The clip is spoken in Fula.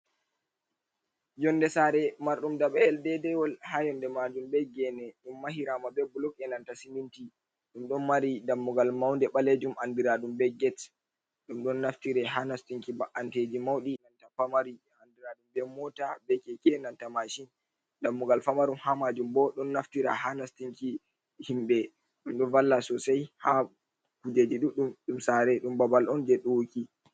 Yonde sare marɗum daba’el dedewol ha yonde majum be gene, ɗum mahirama be blok ’enanta siminti, ɗum ɗon mari dammugal maunde ɓalejum andira ɗum be get, ɗum ɗon naftire ha nastinki ba’anteji mauɗi nanta famaru andira ɗum be mota, keke, enanta mashin. Dammugal famarum ha majum bo ɗon naftira ha nastinki himɓɓe, ɗum ɗon valla sosai ha kujeji ɗuɗɗum ɗum sare, ɗum babal on je ɗuwuki.